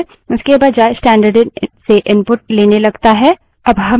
अब हम स्टैन्डर्डइन को file test1 dot टीएक्सटी में निर्देशित करते हैं